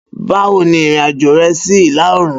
Bawo ni irin-ajo rẹ si ila-oorun?